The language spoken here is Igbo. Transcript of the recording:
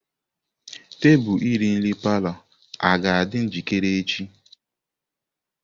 Tebụl iri nri palọ aga-adị njikere echi?